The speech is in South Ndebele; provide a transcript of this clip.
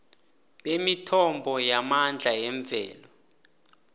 bemithombo yamandla yemvelo